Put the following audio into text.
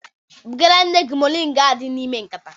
Bugara nne gị moringa ahụ dị n'ime nkata